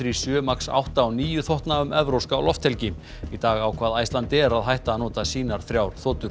sjö max átta og níu þotna um evrópska lofthelgi í dag ákvað Icelandair að hætta að nota sínar þrjár þotur